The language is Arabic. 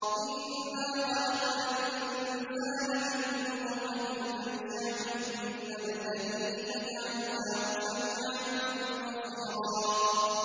إِنَّا خَلَقْنَا الْإِنسَانَ مِن نُّطْفَةٍ أَمْشَاجٍ نَّبْتَلِيهِ فَجَعَلْنَاهُ سَمِيعًا بَصِيرًا